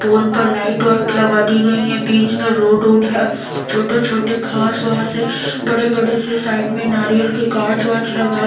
पोल पर लाइट वाइट लगा दी गई है बीच में रोड ओड है छोटे-छोटे घांस वास है बड़े-बड़े से साइड में नारियल के गांच वाच लगा--